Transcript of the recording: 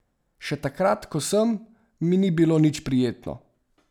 Še takrat ko sem, mi ni bilo nič prijetno.